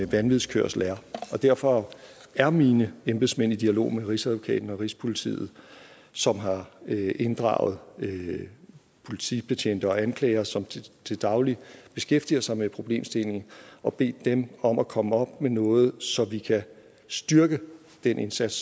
vanvidskørsel er og derfor er mine embedsmænd i dialog med rigsadvokaten og rigspolitiet som har inddraget politibetjente og anklagere som til daglig beskæftiger sig med problemstillingen og bedt dem om at komme op med noget så vi kan styrke den indsats